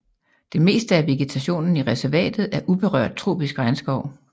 Det meste af vegetationen i reservatet er uberørt tropisk regnskov